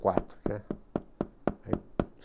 quatro, né? Aí